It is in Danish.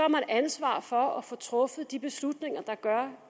man ansvar for at få truffet de beslutninger der gør